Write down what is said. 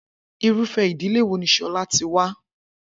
Irúfé̩ ìdílé wo ni S̩o̩lá ti wá?